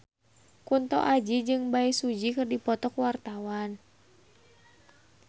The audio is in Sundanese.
Kunto Aji jeung Bae Su Ji keur dipoto ku wartawan